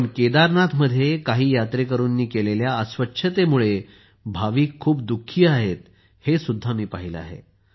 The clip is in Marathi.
पण केदारनाथमध्ये काही यात्रेकरूंनी केलेल्या अस्वच्छतेमुळे भाविक खूप दुःखी आहेत हे सुद्धा मी पाहिले आहे